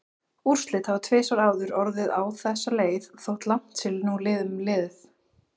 Úrslit hafa tvisvar áður orðið á þessa leið þótt langt sé nú um liðið.